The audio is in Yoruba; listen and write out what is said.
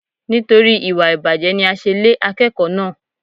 Nítorí ìwà ìbàjẹ́ ni a ṣe lé akẹ́kọ̀ọ́ náà.